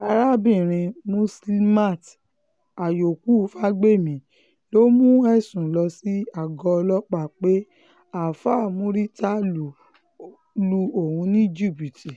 arábìnrin muslimat àyókù fagbemi ló mú ẹ̀sùn lọ sí àgọ́ ọlọ́pàá pé àáfà murità lu òun ní jìbìtì